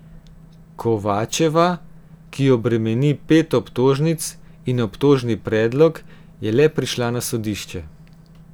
Kovačeva, ki jo bremeni pet obtožnic in obtožni predlog, je le prišla na sodišče.